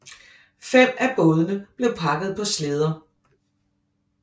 Fem af bådene blev pakket på slæder